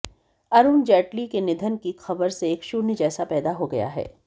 अरुण जेटली के निधन की खबर से एक शून्य जैसा पैदा हो गया है